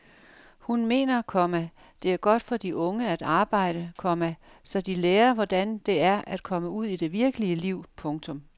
Hun mener, komma det er godt for de unge at arbejde, komma så de lærer hvordan det er at komme ud i det virkelige liv. punktum